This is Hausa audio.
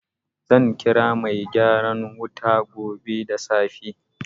Zan kira mai gyaran wuta gobe da safe.